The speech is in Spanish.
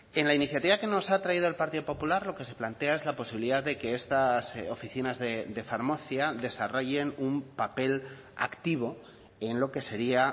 en la iniciativa que nos ha traído el partido popular lo que se plantea es la posibilidad de que estas oficinas de farmacia desarrollen un papel activo en lo que sería